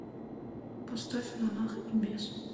поставь монах и бес